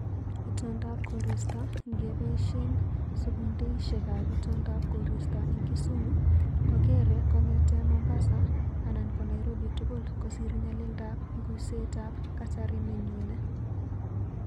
Itondap koristo ngeboishen sekundeishekab itondab koristo eng kisumu kogeere kongete Mombasa ana ko Nairobi tugul kosiir nyalildab nguseetab kasari nenyune